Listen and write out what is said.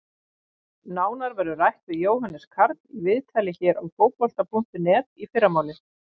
Nánar verður rætt við Jóhannes Karl í viðtali hér á Fótbolta.net í fyrramálið.